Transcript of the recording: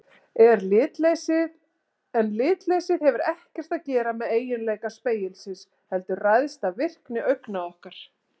En litleysið hefur ekkert að gera með eiginleika spegilsins heldur ræðst af virkni augna okkar.